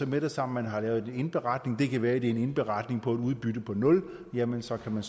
med det samme har lavet en indberetning det kan være det er en indberetning om et udbytte på nul jamen så kan man